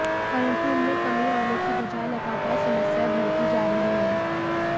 परन्तु इनमें कमी आने की बजाए लगातार समस्याएं बढ़ती जा रही हैं